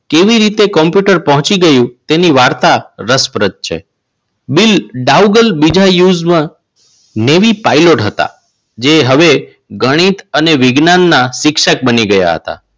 કેવી રીતે કોમ્પ્યુટર પહોંચી ગયું તેની વાર્તા રસપ્રદ છે. બિલ ડાઉગર બીજા નેવી પાઇલોટ હતા. જે હવે ગણિત અને વિજ્ઞાનના શિક્ષક બની ગયા હતા.